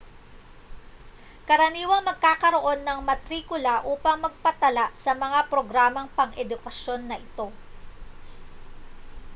karaniwang magkakaroon ng matrikula upang magpatala sa mga programang pang-edukasyon na ito